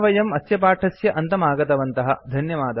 अस्य पाठस्य अनुवादकः प्रवाचकश्च वासुदेवः धन्यवादः